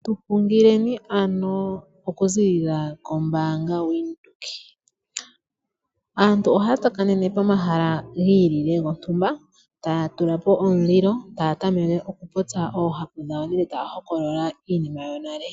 Tu hungileni ano okuziilila kombaanga yaVenduka. Aantu ohaya tsakanene pomahala gontumba gi ilile taya tula po omulilo taya tameke okupopya oohapu dhawo taya hokolola iinima yonale.